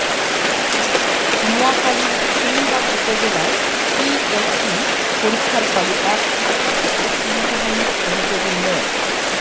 নোয়াখালীর সেনবাগ উপজেলায় পিএসসি পরীক্ষার হলে এক শিক্ষার্থীকে শ্লীলতাহানির অভিযোগে মো